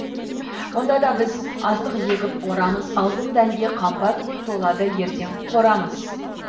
онда да біз астық егіп орамыз алтын дәнге қамба түгіл толады ертең қорамыз